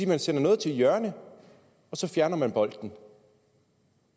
man sender noget til hjørne og så fjerner bolden